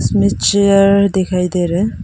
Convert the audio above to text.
इसमें चेयर दिखाई दे रहा है।